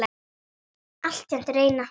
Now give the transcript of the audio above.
Altént reyna.